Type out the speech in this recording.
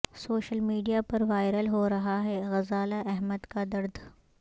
social media پر viral ہو رہا ہے غزالہ احمد کا درد